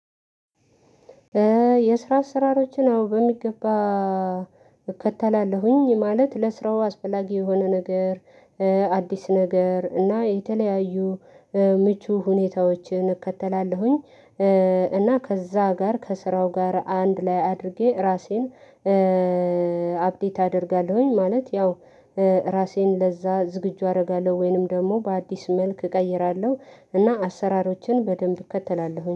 የስራ አሰራሮችን አዎ በሚገባ እከተላለሁኝ፤ ማለት ለስራው አስፈላጊ የሆነ ነገር፤ አዲስ ነገር፤ እና የተለያዩ ምቹ ሁኔታዎችን እከተላለሁኝ። እና ከዛ ጋር ከስራው ጋር አንድ ላይ አድርጌ እራሴን አፕዴት አደርጋለሁኝ ማለት። ያው ራሴን ለዛ ዝግጁ አደርጋለሁ፤ ወይንም ደግሞ በአዲስ መልክ እቀይራለሁ እና አሰራሮችን በደንብ እከተላለሁ።